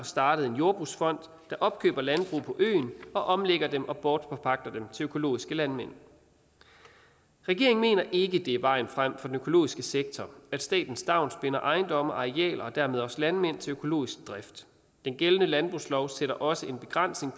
startet en jordbrugsfond der opkøber landbrug på øen og omlægger dem og bortforpagter dem til økologiske landmænd regeringen mener ikke det er vejen frem for den økologiske sektor at staten stavnsbinder ejendomme og arealer og dermed også landmænd til økologisk drift den gældende landbrugslov sætter også en begrænsning